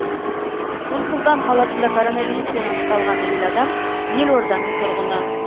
нұр сұлтан қаласында коронавируспен анықталған әйел адам елорданың тұрғыны